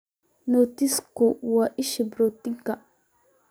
Nutsku waa isha borotiinka.